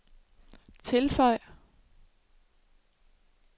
tilføj